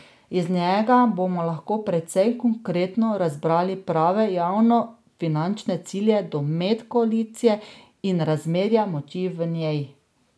Iz njega bomo lahko precej konkretno razbrali prave javnofinančne cilje, domet koalicije in razmerja moči v njej.